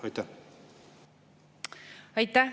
Aitäh!